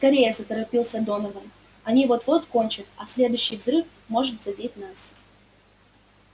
скорее заторопился донован они вот-вот кончат а следующий взрыв может задеть нас